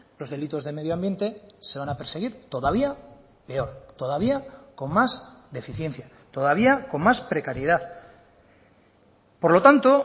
los delitos de medioambiente se van a perseguir todavía peor todavía con más deficiencia todavía con más precariedad por lo tanto